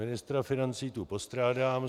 Ministra financí tu postrádám.